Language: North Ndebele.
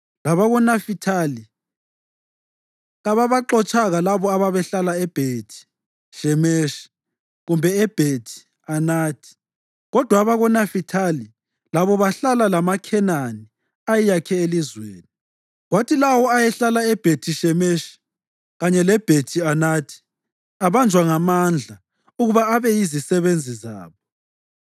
LabakoNafithali kababaxotshanga labo ababehlala eBhethi-Shemeshi kumbe eBhethi-Anathi; kodwa abakoNafithali labo bahlala lamaKhenani ayeyakhe elizweni, kwathi lawo ayehlala eBhethi-Shemeshi kanye leBhethi-Anathi abanjwa ngamandla ukuba abe yizisebenzi zabo.